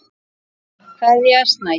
Kveðja, Snædís.